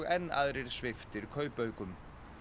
enn aðrir sviptir kaupaukum